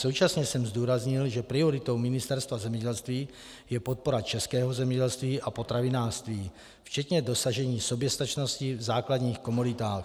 Současně jsem zdůraznil, že prioritou Ministerstva zemědělství je podpora českého zemědělství a potravinářství, včetně dosažení soběstačnosti v základních komoditách.